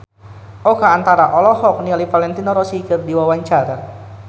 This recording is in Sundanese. Oka Antara olohok ningali Valentino Rossi keur diwawancara